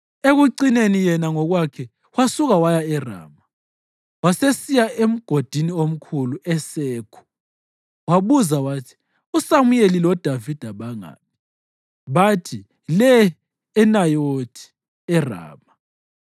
Ekucineni, yena ngokwakhe wasuka waya eRama, wasesiya emgodini omkhulu eSekhu. Wabuza wathi, “USamuyeli loDavida bangaphi?” Bathi, “Le eNayothi eRama.”